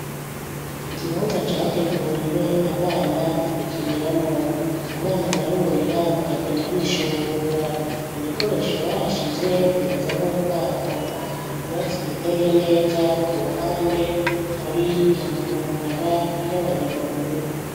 Ikibanza categuriwe abana gukiniramo abana barurira bakagenda bishungurura ibikoresho bahashize bimeze nk'ubwato, ivyatsi biteye neza ku ruhande hari amabarabara y'abanyamaguru.